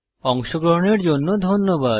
অংশগ্রহনের জন্য ধন্যবাদ